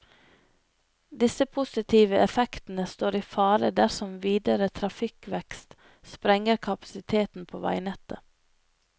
Disse positive effektene står i fare dersom videre trafikkvekst sprenger kapasiteten på veinettet.